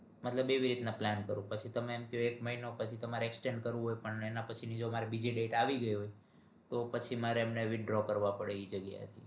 મતલબ એવી રીતે plan કરું પછી તમે એમ ક્યો એક મહિના પછી તમારે exchange કરવુ હોય પણ એના પછી ની મારે બીજી date આવી ગઈ હોય તો પછી મારે એમને withdraw કરવા પડે ઈ જગ્યા એથી